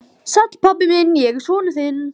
Sæll, pabbi minn, ég er sonur þinn.